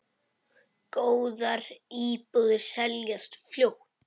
Góðar íbúðir seljast fljótt.